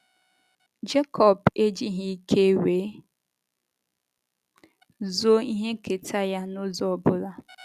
Jekọb ejighị ike wee zoo ihe nketa ya n’ụzọ ọ bụla.